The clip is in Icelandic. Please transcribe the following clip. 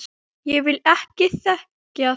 Ég vil ekki þekkja þá.